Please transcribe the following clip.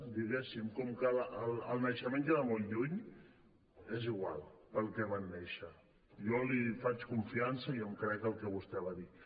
diguéssim com que el naixement queda molt lluny és igual per què van néixer jo li faig confiança i em crec que el que vostè va dir